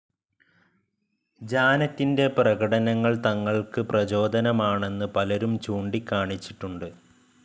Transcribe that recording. ജാനറ്റിന്റെ പ്രകടനങ്ങൾ തങ്ങൾക്ക് പ്രചോദനമാണെന്ന് പലരും ചൂണ്ടിക്കാണിച്ചിട്ടുണ്ട്.